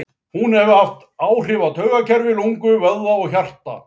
Hún hefur áhrif á taugakerfi, lungu, vöðva og hjarta.